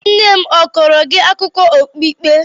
Nne m a kọọrọ gị akụkọ okpukpe?